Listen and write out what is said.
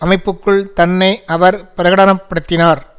அமைப்புக்குள் தன்னை அவர் பிரகடன படுத்தினார்